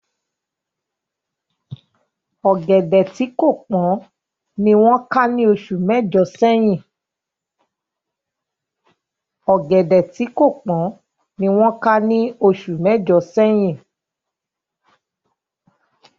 Ọ̀gẹ̀dẹ̀ tí kò tíì pọ́n ni wọ́n ká ní oṣù mẹ́jọ̀ sẹ́yìn